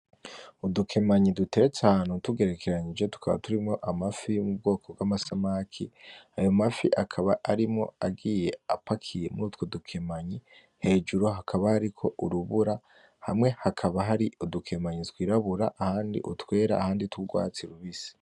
Udukimanyi duteretse ahantu dutegerekeranyije tukaba turimwo amafi yo mubwoko bw'amasamaki ayo mafi akaba arimwo agiye apakiye mutwo dupimanyi hejuru hakaba hariko urubura hamwe hakaba hari udukemanyi twirabura ,ahandi utwera ahandi utwugwatsi rubisi.